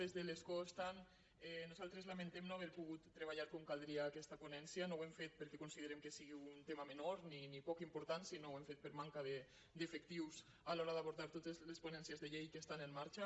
de l’escó estant nosaltres lamentem no haver pogut treballar com caldria aquesta ponència no ho hem fet perquè considerem que sigui un tema menor ni poc important sinó que ho hem fet per manca d’efectius a l’hora d’abordar totes les ponències de llei que estan en marxa